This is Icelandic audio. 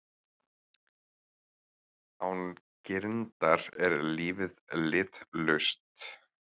Án girndar er lífið litlaust.